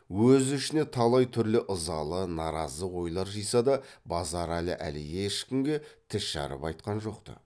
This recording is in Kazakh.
өз ішіне талай түрлі ызалы наразы ойлар жиса да базаралы әлі ешкімге тіс жарып айтқан жоқ ты